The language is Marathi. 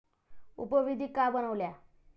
उपविधी का बनवल्या?